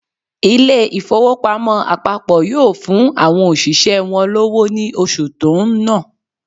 Ilé ìfowópamọ́ àpapọ̀ yóò fún àwọn òṣìṣẹ́ wọn lọ́wọ́ ní oṣù tó ń nọ̀